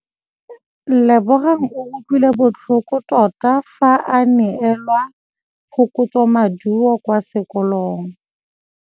Lebogang o utlwile botlhoko tota fa a neelwa phokotsômaduô kwa sekolong.